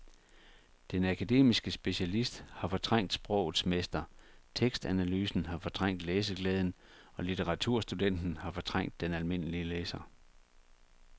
Den akademiske specialist har fortrængt sprogets mester, tekstanalysen har fortrængt læseglæden og litteraturstudenten har fortrængt den almindelige læser.